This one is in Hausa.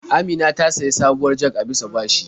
Amina ta sayi sabuwar jag a bisa bashi.